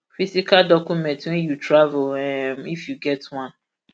physical document wen you travel um if you get one